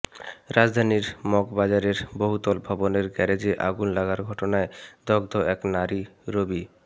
রাজধানীর মগবাজারের বহুতল ভবনের গ্যারেজে আগুন লাগার ঘটনায় দগ্ধ এক নারী রবি